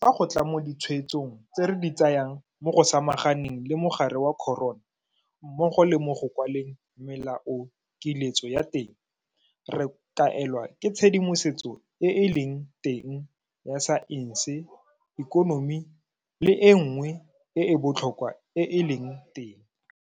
fa go tla mo ditshwetsong tse re di tsayang mo go samaganeng le mogare wa corona mmogo le mo go kwaleng melaokiletso ya teng, re kaelwa ke tshedimosetso e e leng teng ya saense, ikonomi le e nngwe e e botlhokwa e e leng teng.